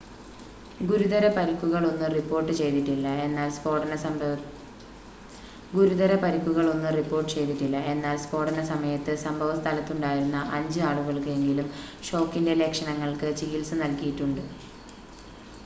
ഗുരുതര പരുക്കുകൾ ഒന്നും റിപ്പോർട്ട് ചെയ്തിട്ടില്ല എന്നാൽ സ്ഫോടന സമയത്ത് സംഭവ സ്ഥലത്തുണ്ടായിരുന്ന അഞ്ച് ആളുകൾക്ക് എങ്കിലും ഷോക്കിൻ്റെ ലക്ഷണങ്ങൾക്ക് ചികിൽസ നൽകിയിട്ടുണ്ട്